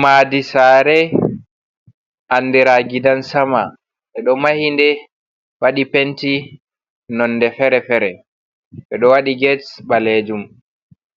"Madi sare" andira gidan sama e'ɗo mahinɗe waɗi penti nonɗe fere-fere be ɗo waɗi get ɓalejum